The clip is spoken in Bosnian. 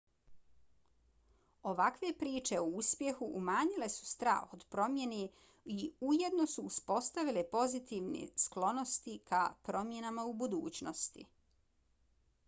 ovakve priče o uspjehu umanjile su strah od promjene i ujedno su uspostavile pozitivne sklonosti ka promjenama u budućnosti